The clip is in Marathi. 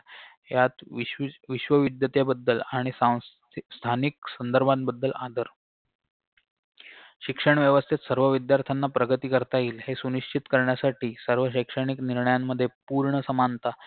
ह्यात वीस वीस विश्वविध्यतेबद्दल आणि सां स्थानिक संदर्भांबद्दल आदर शिक्षण व्यवस्थेत सर्व विध्यार्थ्यांना प्रगती करता येईल हे सुनिश्चित करण्यासाठी सर्व शैक्षणिक निर्णयांमध्ये पूर्ण समानता